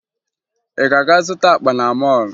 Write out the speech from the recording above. Ị ga-aga zụta akpa na mọọlụ?